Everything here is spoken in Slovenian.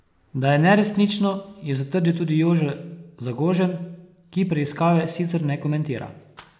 Da je neresnično, je zatrdil tudi Jože Zagožen, ki preiskave sicer ne komentira.